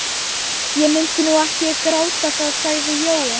Ég mundi nú ekki gráta það sagði Jói.